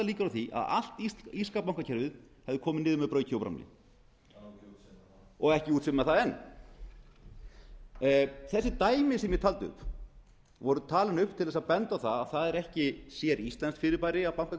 á því að allt írska bankakerfið hefðu komið niður og ekki útséð með það enn þessi dæmi sem ég taldi upp voru talin upp til að benda á að það er ekki séríslenskt fyrirbæri að bankakrísa